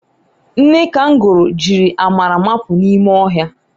Nne kangoro jiri amara mapụ n'ime ọhịa